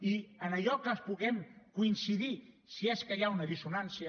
i en allò que puguem coincidir si és que hi ha una dissonància